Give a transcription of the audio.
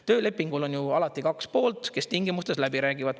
Töölepingul on alati kaks poolt, kes tingimustes läbi räägivad.